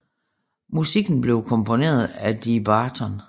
Musikken blev komponeret af Dee Barton